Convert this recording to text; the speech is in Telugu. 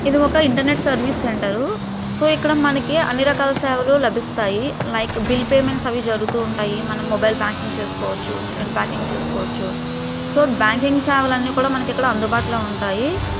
ఇది ఒక ఇంటర్నెట్ సర్వీస్ సెంటర్సో ఇక్కడ మనకి అన్ని రకాల సేవలు లభిస్తాయి లైక్ బిల్ పేమెంట్స్ అవి జరుగుతూ ఉంటాయి మనం మొబైల్ బ్యాంకింగ్ చేసుకోవచ్చు ఇంటర్నెట్ బ్యాంకింగ్ చేసుకోవచ్చు సో బ్యాంకింగ్ సేవలు అన్ని కూడా మనకు ఇక్కడ అందుబాటులో ఉంటాయి.